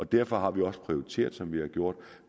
derfor har vi også prioriteret som vi har gjort